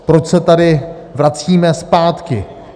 Proč se tady vracíme zpátky.